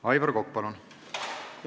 Aivar Kokk, palun!